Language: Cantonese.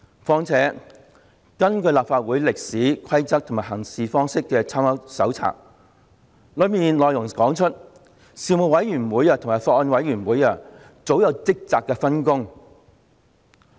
況且，根據《立法會歷史、規則及行事方式參考手冊》，事務委員會及法案委員會早有職責上的分工。